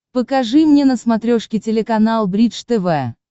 покажи мне на смотрешке телеканал бридж тв